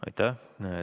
Aitäh!